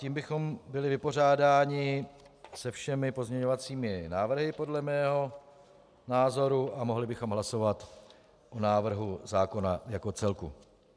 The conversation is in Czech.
Tím bychom byli vypořádáni se všemi pozměňovacími návrhy podle mého názoru a mohli bychom hlasovat o návrhu zákona jako celku.